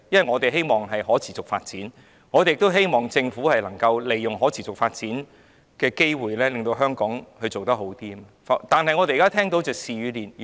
我們也期望香港有可持續發展，期望政府可以利用可持續發展的機會，令香港做得更好，但我們現在看到的是事與願違。